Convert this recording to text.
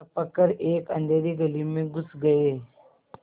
लपक कर एक अँधेरी गली में घुस गये